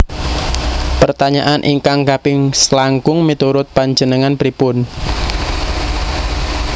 Pertanyaan ingkang kaping selangkung miturut panjenengan pripun?